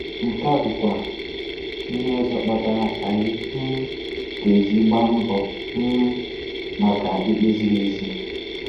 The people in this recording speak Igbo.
Nke a bụkwa ihe ọzọ kpatara anyị um GA-EJI gbaa mbọ um maka ikpe ziri ezi.